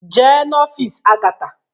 Jee n'ọfịs Agatha!